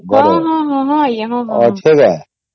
ହଁ ହଁ ହଁ ହଁହଁ ଆଂଜ୍ଞା